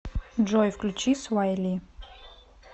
джой включи свай ли